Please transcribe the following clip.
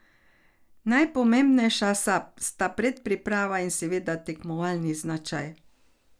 Najpomembnejša sta predpriprava in seveda tekmovalni značaj.